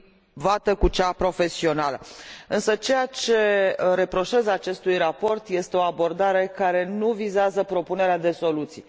privată cu cea profesională. Însă, ceea ce reproșez acestui raport este o abordare care nu vizează propunerea de soluții.